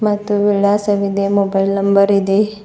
ಮತ್ತು ವಿಳಾಸವಿದೆ mobile number ಇದೆ.